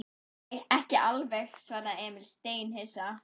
Nei, ekki alveg, svaraði Emil steinhissa.